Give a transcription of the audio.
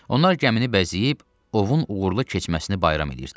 Onlar gəmini bəzəyib ovun uğurlu keçməsini bayram eləyirdilər.